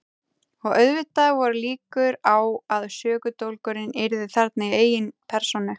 Og auðvitað voru líkur á að sökudólgurinn yrði þarna í eigin persónu.